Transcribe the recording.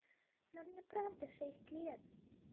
но мне правда шесть лет